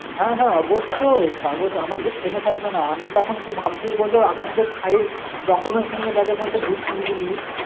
হ্যাঁ হ্যাঁ অবশ্যই, কাগজ আমার তো থেমে থাকবে না. আমিতো এখন কি ভাবছি বলতো এখন তো খাই documents নিয়ে bag এর মধ্যে ঘুরছিস বুঝলি